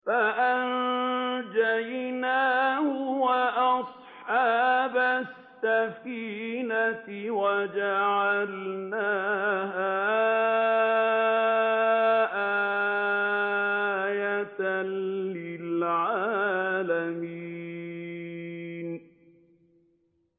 فَأَنجَيْنَاهُ وَأَصْحَابَ السَّفِينَةِ وَجَعَلْنَاهَا آيَةً لِّلْعَالَمِينَ